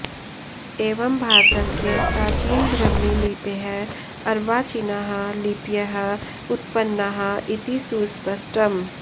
एवं भारतस्य प्राचीनब्राह्मीलिपेः अर्वाचीनाः लिपयः उत्पन्नाः इति सुस्पष्टम्